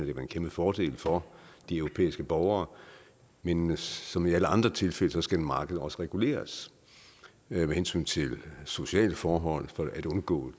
en kæmpefordel for de europæiske borgere men men som i alle andre tilfælde skal markedet også reguleres med hensyn til sociale forhold for at undgå